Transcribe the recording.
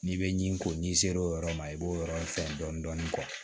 N'i bɛ ɲi ko n'i sera o yɔrɔ ma i b'o yɔrɔ fɛn dɔɔni